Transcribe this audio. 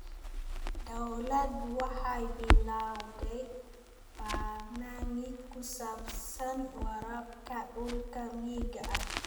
Dawladdu waxay bilowday barnaamij ku saabsan waraabka dhulka miyiga ah.